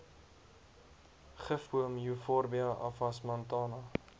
gifboom euphorbia avasmantana